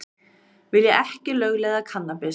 Vilja ekki lögleiða kannabis